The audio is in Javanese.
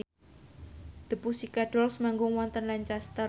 The Pussycat Dolls manggung wonten Lancaster